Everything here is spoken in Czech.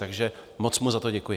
Takže moc mu za to děkuji.